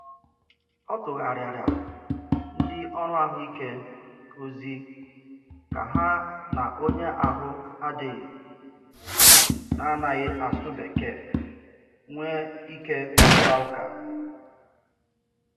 Ọ tụgharịara ndị ọrụ ahụike ozi ka ha na onye ahụ adịghị na-anaghị asụ Bekee nwee ike kparịta ụka.